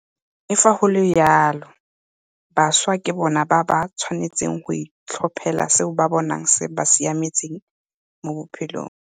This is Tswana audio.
Le fa go le jalo, bašwa ke bona ba ba tshwanetseng go itlhophela seo ba bonang se ba siametse mo botshelong.